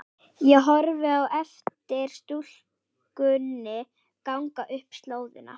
Ég horfi á eftir stúlkunni ganga upp slóðina.